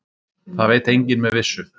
Það veit enginn með vissu.